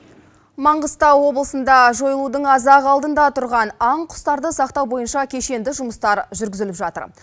маңғыстау облысында жойылудың аз ақ алдында тұрған аң құстарды сақтау бойынша кешенді жұмыстар жүргізіліп жатыр